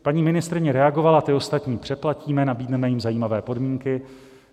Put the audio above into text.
Paní ministryně reagovala: Ty ostatní přeplatíme, nabídneme jim zajímavé podmínky.